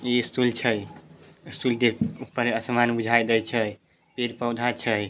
ई stool छै। Stool के ऊपर आसमान बुझाय दे छै पेड़-पौधा छै।